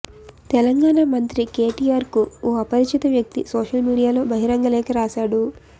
తెలంగాణా మంత్రి కేటిఆర్ కు ఓ అపరిచిత వ్యక్తి సోషల్ మీడియాలో బహిరంగలేఖ రాశాడు